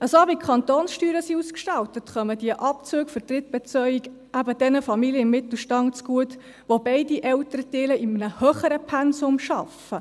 So wie die Kantonssteuern ausgestaltet sind, kommen diese Abzüge für die Drittbetreuung eben den Familien des Mittelstands zugute, wo beide Elternteile in einem höheren Pensum arbeiten.